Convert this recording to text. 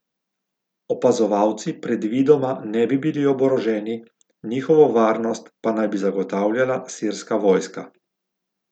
Opazovalci predvidoma ne bi bili oboroženi, njihovo varnost pa naj bi zagotavljala sirska vojska.